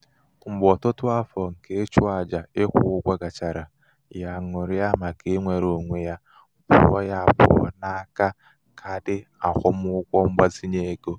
mgbe ọtụtụ afọ nke ịchụ aja ikwụ ụgwọ gachara ya aṅụrịa màkà inwere onwe ya pụọ ya pụọ n'aka kaadị akwụmụgwọ mgbazinye ego.